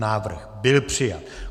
Návrh byl přijat.